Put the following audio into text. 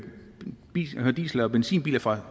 diesel og benzinbiler fra